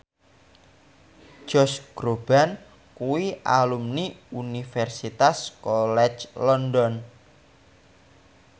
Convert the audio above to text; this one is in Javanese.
Josh Groban kuwi alumni Universitas College London